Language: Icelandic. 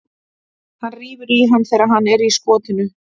Hann rífur í hann þegar hann er í skotinu.